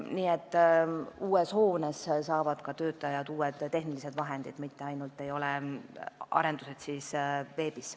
Nii et uues hoones saavad ka töötajad uued tehnilised vahendid, mitte ainult ei tehta arendusi veebis.